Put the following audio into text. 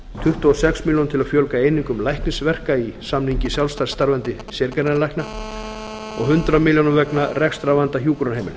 tuttugu og sex milljónum til að fjölga einingum læknisverka í samningi sjálfstætt starfandi sérgreinalækna og hundrað milljónum vegna rekstrarvanda hjúkrunarheimila